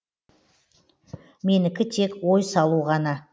менікі тек ой салу ғана